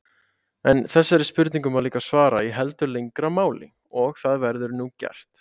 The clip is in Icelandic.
En þessari spurningu má líka svara í heldur lengra máli og það verður nú gert.